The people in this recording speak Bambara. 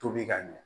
Tobi ka ɲɛ